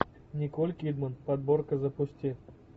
николь кидман подборка запусти